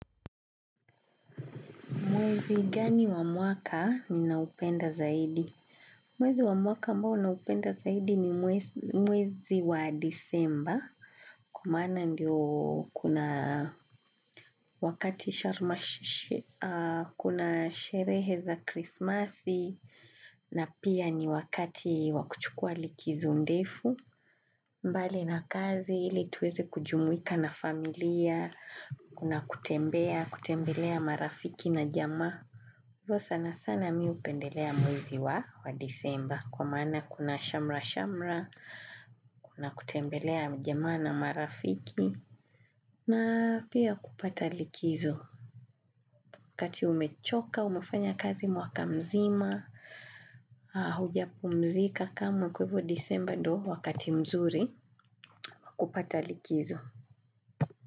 Mwezi gani wa mwaka ninaopenda zaidi? Mwezi wa mwaka ambao naupenda zaidi ni mwezi wa disemba. Kwa maana ndiyo kuna wakati kuna sherehe za krismasi na pia ni wakati wa kuchukua likizo ndefu. Mbali na kazi ili tuweze kujumuika na familia, kuna kutembea, kutembelea marafiki na jamaa. Hivyo sana sana mimi hupendelea mwezi wa wa disemba kwa maana kuna shamra-shamra, kuna kutembelea majamaa na marafiki na pia kupata likizo. Wakati umechoka, umefanya kazi mwaka mzima, haujapumzika kama kwa hivo disemba ndio wakati mzuri, kupata likizo.